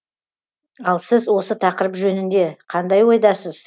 ал сіз осы тақырып жөнінде қандай ойдасыз